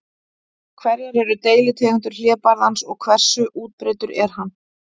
Hverjar eru deilitegundir hlébarðans og hversu útbreiddur er hann?